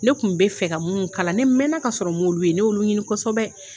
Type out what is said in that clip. Ne kun be fe ka mun kalan ne mɛna ka sɔrɔ n m'olu ye, ne y'olu ɲini kosɛbɛ